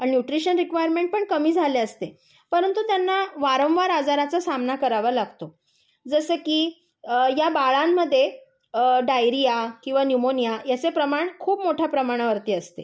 पण nutrition requirement पण कमी झालेली असते. परंतु त्यांना वारंवार आजाराचा सामना करावा लागतो. जसे की या बाळांमध्ये डायरीया किंवा न्यूमोनिया यांचे प्रमाण खूप मोठ्या प्रमाणावरती असते.